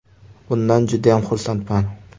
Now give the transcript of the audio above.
Bundan judayam xursandman”.